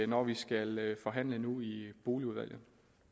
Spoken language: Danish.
når vi skal forhandle nu i boligudvalget